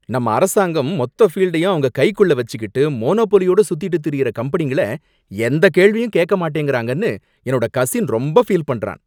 நம்ம அரசாங்கம் மொத்த ஃபீல்டயும் அவங்க கைக்குள்ள வச்சிக்கிட்டு மோனோபோலியோட சுத்திட்டு திரியுற கம்பெனிங்கள எந்தக் கேள்வியும் கேக்கமாட்டேங்கறாங்கன்னு என்னோட கசின் ரொம்ப ஃபீல் பண்றான்